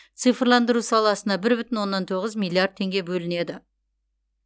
цифрландыру саласына бір бүтін оннан тоғыз миллиард теңге бөлінеді